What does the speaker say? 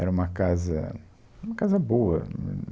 Era uma casa, uma casa boa, hum.